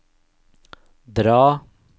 dra